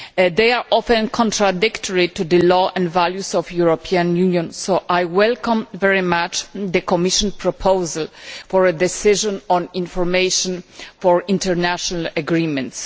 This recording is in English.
They are often contradictory to the law and values of the European Union, so I very much welcome the Commission proposal for a decision on information for international agreements.